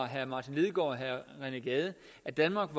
herre martin lidegaard og herre rené gade at danmark